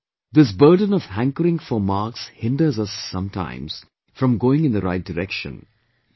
And therefore this burden of hankering for marks hinders us sometimes from going in the right direction